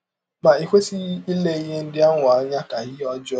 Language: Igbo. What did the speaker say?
Ma i kwesịghị ile ihe ndị ahụ anya ka ihe ọjọọ.